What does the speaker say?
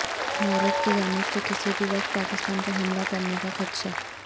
بھارت کی جانب سے کسی بھی وقت پاکستان پر حملہ کرنے کا خدشہ